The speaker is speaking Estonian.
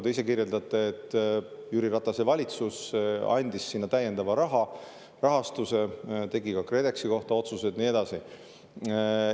Nagu te kirjeldasite, Jüri Ratase valitsus andis sinna täiendava rahastuse, tegi ka KredExi kohta otsuse ja nii edasi.